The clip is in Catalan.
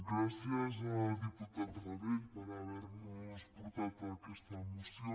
gràcies diputat rabell per haver nos portat aquesta moció